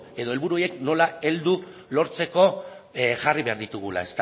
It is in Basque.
edo helburu horiek nola heldu lortzeko jarri behar ditugula